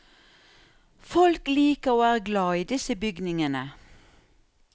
Folk liker og er glad i disse bygningene.